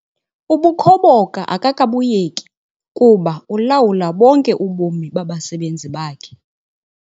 Ubukhoboka akakabuyeki kuba ulawula bonke ubomi babasebenzi bakhe.